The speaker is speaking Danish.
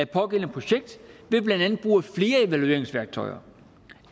pågældende projekt ved blandt andet at bruge flere evalueringsværktøjer